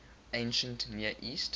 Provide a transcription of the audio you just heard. ancient near east